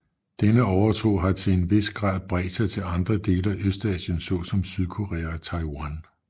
Denne overtro har til en vis grad bredt sig til andre dele af Østasien såsom Sydkorea og Taiwan